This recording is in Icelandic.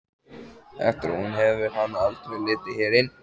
Eftir að hún fór hefur hann aldrei litið hér inn.